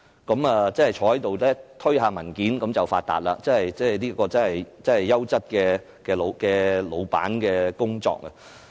他們坐着推推文件便可以發達，這真的是優質老闆的工作。